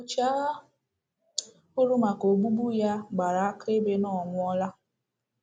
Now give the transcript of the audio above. Ọchịagha hụrụ maka ogbugbu ya gbara akaebe na ọ nwụọla.